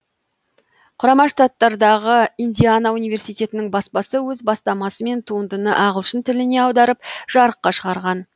құрама штаттардағы индиана университетінің баспасы өз бастамасымен туындыны ағылшын тіліне аударып жарыққа шығарған